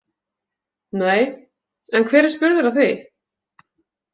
Nei, en hver er spurður að því?